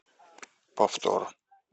повтор